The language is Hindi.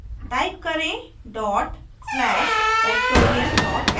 type करेंः dot slash factorial sh